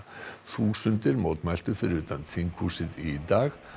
þúsundir mótmæltu fyrir utan þinghúsið í dag